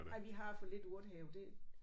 Ej vi har for lidt urtehave det